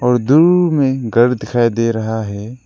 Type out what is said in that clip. और दूर में एक घर दिखाई दे रहा है।